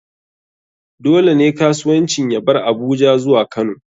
Dole ne kasuwancin ya bar Abuja zuwa kano.